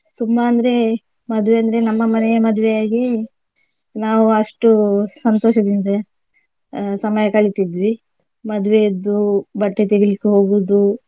ತುಂಬಾ ಅಂದ್ರೆ ಮದುವೆ ಅಂದ್ರೆ ನಮ್ಮ ಮನೆಯ ಮದುವೆ ಆಗೇ ನಾವು ಅಷ್ಟು ಸಂತೋಷದಿಂದ ಅಹ್ ಸಮಯ ಕಳಿತಿದ್ವಿ ಮದ್ವೆ ಅದ್ದು ಬಟ್ಟೆ ತೆಗಿಲಿಕ್ಕೆ ಹೋಗುದು.